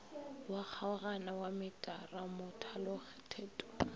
wa kgaogano wa metara mothalothetong